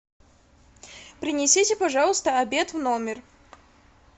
принесите пожалуйста обед в номер